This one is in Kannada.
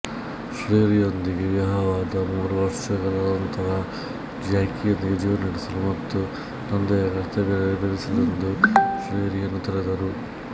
ಶೆರ್ರಿಯೊಂದಿಗೆ ವಿವಾಹವಾದ ಮೂರು ಮೂರುವರ್ಷಗಳ ನಂತರ ಜ್ಯಾಕಿಯೊಂದಿಗೆ ಜೀವನ ನಡೆಸಲು ಮತ್ತು ತಂದೆಯ ಕರ್ತವ್ಯ ನೆರವೇರಿಸಲೆಂದು ಶೆರ್ರಿಯನ್ನು ತೊರೆದರು